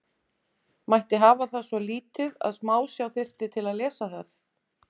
Mætti hafa það svo lítið að smásjá þyrfti til að lesa það?